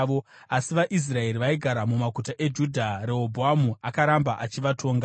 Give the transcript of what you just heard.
Asi vaIsraeri vaigara mumaguta eJudha, Rehobhoamu akaramba achivatonga.